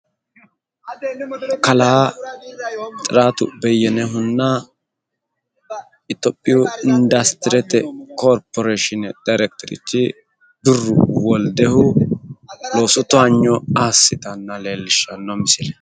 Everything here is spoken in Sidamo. Kalaa xiraatu beyyenehunna itiyophiyu indastirete koorporeeshine daayiirekiteruchi birru tulluhu loosu toyaanyo assinota leellishshanno misileeti